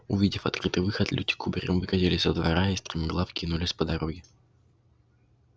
увидев открытый выход люди кубарем выкатились со двора и стремглав кинулись по дороге